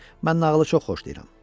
Mən nağılı çox xoşlayıram.